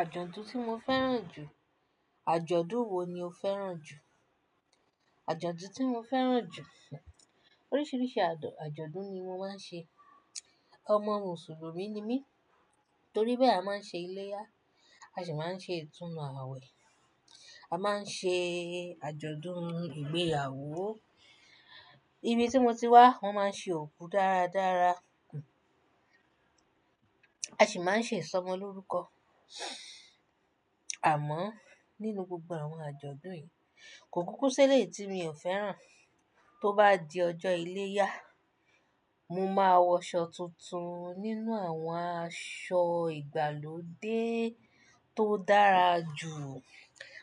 Àjọ̀dún tí mo fẹ́ràn jù. Àjọ̀dún wo ni o fẹ́ràn jù? Àjọ̀dún tí mo fẹ́ràn jù. Oríṣiríṣi àjọ̀-àjọ̀dún ni mo máa ń ṣe. Ọmọ Mùsùlùmí ni mí. Torí bẹ́ẹ̀ a máa ń ṣe iléyá, a sì máa ń ṣe ìtúnnu àwẹ̀. A máa ń ṣe àjọ̀dún ìgbéyàwó. Ibi tí mo ti wá, wọ́n máa ń ṣe òkú dáradára, a sì máa ń ṣe ìsọmọlórúkọ. Àmọ́ nínú gbogbo àwọn àjọ̀dún yìí, kò kúkú si e lé tí mi ò fẹ́ràn. Tó bá di ọjọ́ iléyá, mo máa wọ aṣọ tuntun nínú àwọn aṣọ ìgbàlódé tó dára jù.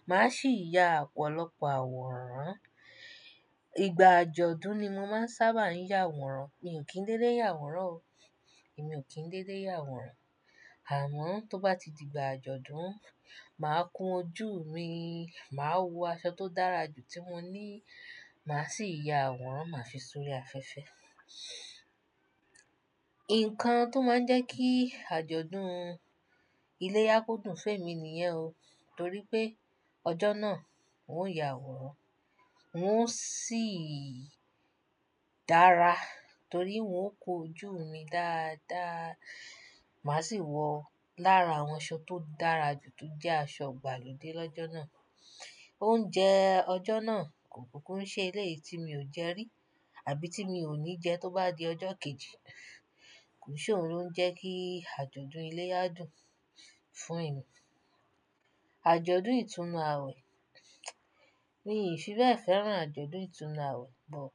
Màá sì ya ọ̀pọ̀lọpọ̀ àwòrán. Ìgbà àjọ̀dún ni mo máa ń sábà yà àwòrán. Mi ò kí ń dédé yà àwòrán o. Èmi ò kí ń dédé yà àwòrán. Àmọ́ tó bá ti di ìgbà àjọ̀dún, màá kun ojú mi, màá wọ aṣọ tó dára jù tí mo ní, màá sì ya àwòrán, màá fi sórí afẹ́fẹ́. Ǹkan tó máa ń jẹ́ kí àjọ̀dún iléyá kó dùn fé mi nìyẹn o. Torí pé ọjọ́ náà n ó yà àwòrán, n ó sì dára torí n ó kun ojú mi dáadáa. Màá sì wọ lára àwọn aṣọ tó dára jù tó jẹ́ aṣọ ìgbàlódé lọ́jọ́ náà. Oúnjẹ ọjọ́ náà kò kúkú ń ṣe ilé tí mi ò jẹ rí àbí tí mi ò ní jẹ tó bá di ọjọ́ kejì. Kò sì ohun ló ń jẹ́ kí àjọ̀dún iléyá dùn fún èmi. Àjọ̀dún ìtúnu àwẹ̀. Mi ò fi bẹ́ẹ̀ fẹ́ràn àjọ̀dún ìtúnu àwẹ̀, but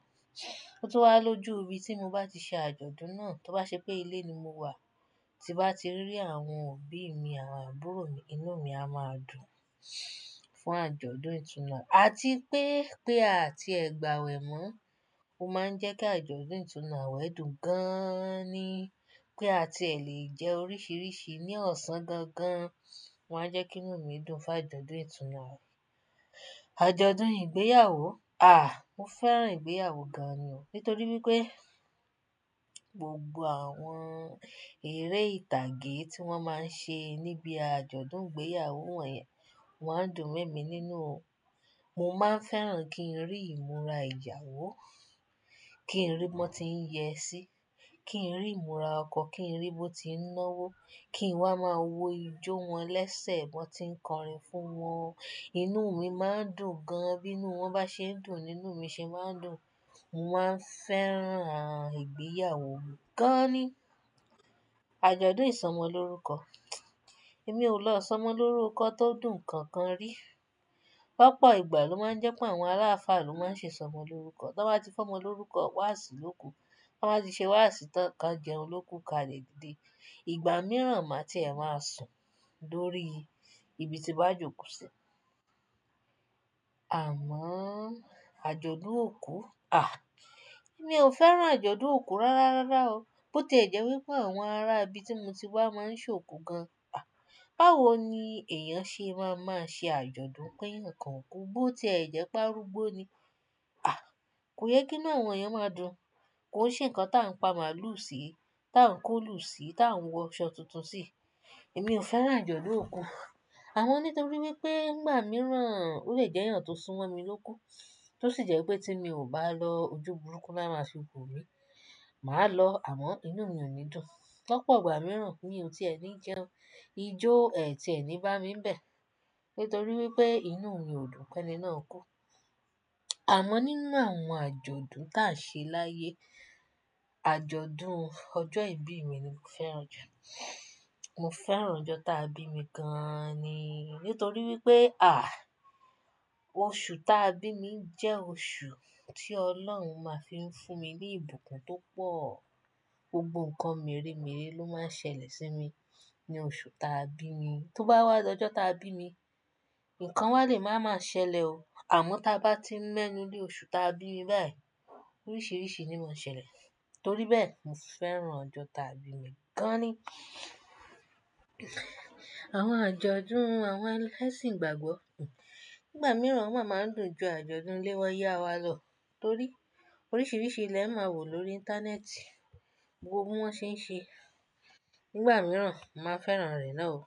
tó bá lọ jú, ibi tí mo bá ti ṣe àjọ̀dún náà, tó bá ṣe pé ilé ni mo wà, tí bá ti rí àwọn òbí mi, àwọn àbúrò mi, inú mi a máa dùn fún àjọ̀dún ìtúnu àwẹ̀. Àti pé, pé àti ẹ̀gbà ẹwẹ̀ mọ́, ó máa ń jẹ́ kí àjọ̀dún ìtúnu àwẹ̀ dùn gan ni. Pé àti ẹ̀ lè jẹ oríṣiríṣi ní ọ̀sán gan gan, wọ́n á jẹ́ kí inú mi dùn fún àjọ̀dún ìtúnu àwẹ̀. Àjọ̀dún ìgbéyàwó. À! Mo fẹ́ràn ìgbéyàwó gan ni o. Nítorí wípé gbogbo àwọn eré ìtàgé tí wọ́n máa ń ṣe níbí àjọ̀dún ìgbéyàwó wọ̀nyẹn, wọ́n á dùn mí nínú o. Mo máa ń fẹ́ràn kí n rí ìmúra ìyawo, kí n rí wọn tí ń yẹ sí, kí n rí ìmúra ọkọ, kí n rí bó ti ń nọ́wó, kí n wá máa wo ijó wọn lẹ́sẹ̀ wọn tí ń kọrin fún wọn. Inú mi máa ń dùn gan, bí inú wọn bá ṣe ń dùn, inú mi sì máa ń dùn. Mo máa ń fẹ́ràn n ìgbéyàwó gan ni. Àjọ̀dún ìsọmọlórúkọ. Èmi ò lọ sọmọ lórúkọ tó dùn kankan rí. Lopọ̀ ìgbà ló máa ń jẹ́ pé àwọn ará ifá ló máa ń ṣe sọmọ lórúkọ. Tí wọ́n bá ti fọ́mọ lórúkọ, wá àṣìlò kú. Tí wọ́n bá ti ṣe wá àṣìtọ́, ká jẹun ló kú ká rẹ̀ gidi. Ìgbà mìíràn màá tí ẹ máa sùn lórí ibi tí wọ́n jókòó sí. Àmọ́ àjọ̀dún òkú. À! Èmi ò fẹ́ràn àjọ̀dún òkú rárá rárá o. Bó tí ẹ jẹ́ wípé àwọn ará ibi tí mo ti wá máa ń ṣe òkú gan. À! Báwo ni èèyàn ṣe máa máa ṣe àjọ̀dún pé nǹkan kú bó tí ẹ jẹ́ pé á rúgbó ni? À! Kò yẹ kí inú àwọn èèyàn máa dùn. Kò sí nǹkan táa ń pa màlúù sí, táa ń kó lù sí, táa ń wọ aṣọ tuntun sí. Èmi ò fẹ́ràn àjọ̀dún òkú. Àmọ́ nítorí wípé ìgbà mìíràn ó lè jẹ́ ìyàn tó súnmọ́ mi ló kú, tó sì jẹ́ pé tí mi ò bá lọ ojú burúkú lára ṣe òkú mi, màá lọ, àmọ́ inú mi ò ní dùn. Pápọ̀ ìgbà mìíràn kíni ò tí ẹ ní jẹun, ijó ẹ́ tí ẹ ní bá mi ń bẹ̀, nítorí wípé inú mi ò dùn pé ẹni náà kú. Àmọ́ nínú àwọn àjọ̀dún táa ṣe láyé, àjọ̀dún ọjọ́ ìbí mi ni mo fẹ́ràn jù. Mo fẹ́ràn ọjọ́ táa bí mi gan ni. Nítorí wípé à! Oṣù táa bí mi jẹ́ oṣù tí Ọlọ́run máa fi ń fún mi ní ìbùkún tó pọ̀. Gbogbo nǹkan mírémiré ló máa ń ṣẹlẹ̀ sí mi ní oṣù táa bí mi. Tó bá wá lọ́jọ́ táa bí mi, nǹkan wa lè máa máa ṣẹlẹ̀ o. Àmọ́ tí a bá ti ń lẹ́nu lé oṣù táa bí mi bẹ́ẹ̀, oríṣiríṣi ni máa ń ṣẹlẹ̀. Torí bẹ́ẹ̀, mo fẹ́ràn ọjọ́ táa bí mi gan ni. Àwọn àjọ̀dún àwọn ẹlẹ́sìn igbàgbọ́. Ìgbà mìíràn wọ́n máa ń dùn ju àjọ̀dún ilé wa yá wa lọ torí oríṣiríṣi ilẹ̀ máa wò lórí íńtánẹ́ẹ̀tì gbogbo ohun tí wọ́n ṣe ń ṣe. Ìgbà mìíràn, màá fẹ́ràn ìrẹ́ náà o.